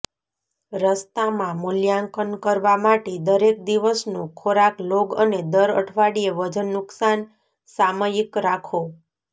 રસ્તામાં મૂલ્યાંકન કરવા માટે દરેક દિવસનો ખોરાક લોગ અને દર અઠવાડિયે વજન નુકશાન સામયિક રાખો